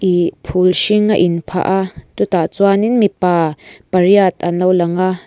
ih phul hring a in phah a chutah chuanin mipa pariat an lo lang a.